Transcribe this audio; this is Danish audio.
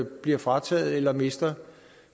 bliver frataget eller mister